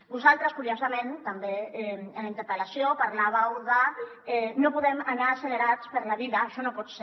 vosaltres curiosament també en la interpel·lació parlàveu de no podem anar accelerats per la vida això no pot ser